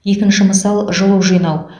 екінші мысал жылу жинау